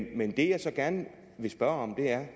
i men det jeg gerne vil spørge